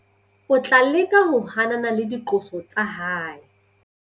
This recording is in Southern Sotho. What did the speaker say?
O tla leka ho hanana le diqoso tsa hae.